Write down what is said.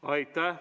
Aitäh!